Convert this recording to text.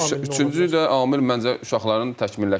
Üçüncü də amil məncə uşaqların təkmilləşdirilməsi.